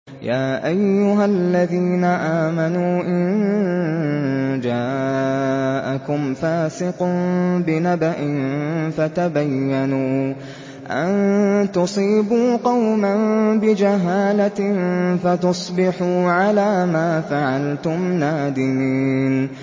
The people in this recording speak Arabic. يَا أَيُّهَا الَّذِينَ آمَنُوا إِن جَاءَكُمْ فَاسِقٌ بِنَبَإٍ فَتَبَيَّنُوا أَن تُصِيبُوا قَوْمًا بِجَهَالَةٍ فَتُصْبِحُوا عَلَىٰ مَا فَعَلْتُمْ نَادِمِينَ